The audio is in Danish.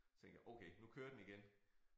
Så tænkte jeg okay nu kører den igen